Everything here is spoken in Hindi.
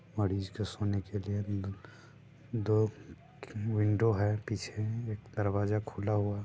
और इसके सोने के लिए अंदर दो विंडो है पीछे एक दरवाजा खुला हुआ है।